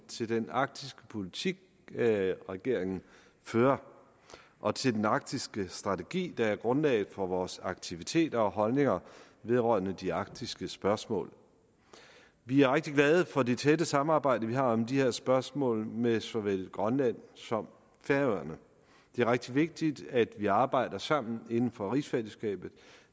til den arktiske politik regeringen fører og til den arktiske strategi der er grundlaget for vores aktiviteter og holdninger vedrørende de arktiske spørgsmål vi er rigtig glade for det tætte samarbejde vi har om de her spørgsmål med såvel grønland som færøerne det er rigtig vigtigt at vi arbejder sammen inden for rigsfællesskabet